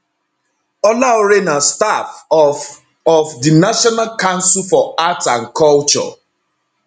olaore na staff of of di national council for arts and culture